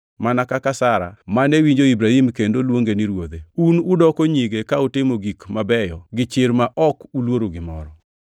mana kaka Sara, mane winjo Ibrahim kendo luonge ni ruodhe. Un udoko nyige ka utimo gik mabeyo gi chir ma ok uluoro gimoro.